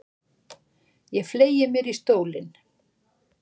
Ég fleygi mér í stólinn.